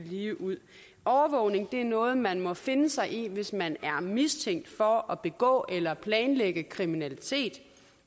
ligeud overvågning er noget man må finde sig i hvis man er mistænkt for at begå eller planlægge kriminalitet